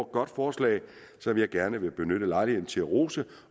godt forslag som jeg gerne vil benytte lejligheden til at rose